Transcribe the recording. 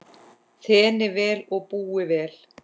Þéni vel og búi vel.